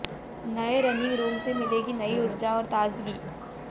नए running room से मिलेगी नई ऊर्जा और ताजगी